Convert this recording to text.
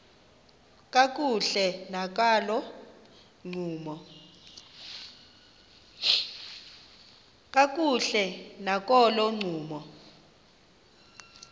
kakuhle nakolo ncumo